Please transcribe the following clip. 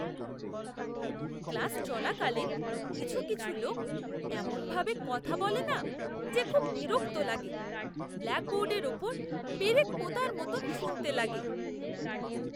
Class চলাকালীন কিছু কিছু লোক এমনভাবে কথা বলে না যে খুব বিরক্ত লাগে; ব্ল্যাকবোর্ডের ওপর পেরেক পোঁতার মতন শুনতে লাগে!